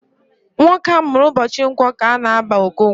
Nwoke amụrụ ụbọchị Nkwọ ka a na-aba Okonkwọ